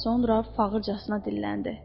Sonra fağırçasına dilləndi.